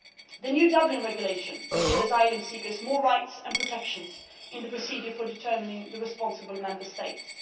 The new Dublin Regulation will give asylum seekers more rights and protection in the procedure for determining the responsible Member States.